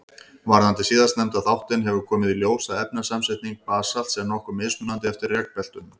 Varðandi síðastnefnda þáttinn hefur komið í ljós að efnasamsetning basalts er nokkuð mismunandi eftir rekbeltunum.